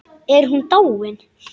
Er hún dáin?